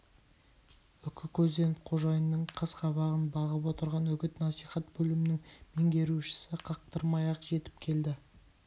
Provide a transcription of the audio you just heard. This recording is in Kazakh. үкі көзденіп қожайынның қас-қабағын бағып отырған үгіт-насихат бөлімнің меңгерушісі қақтырмай-ақ жетіп келді